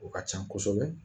O ka can kosɛbɛ